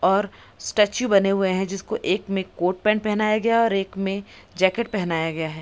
और स्टेचू बने हुए हैं जिसको एक में कोट पेंट पहना गया है और एक में जैकेट पहनाया गया है।